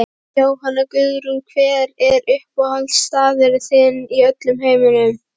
Jóhanna Guðrún Hver er uppáhaldsstaðurinn þinn í öllum heiminum?